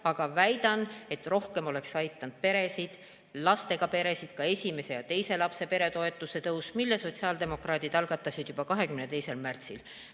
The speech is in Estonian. Aga väidan, et rohkem oleks aidanud lastega peresid esimese ja teise lapse peretoetuse tõus, mille sotsiaaldemokraadid algatasid juba 22. märtsil.